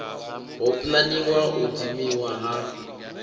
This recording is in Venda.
ho pulaniwaho u dzimiwa ha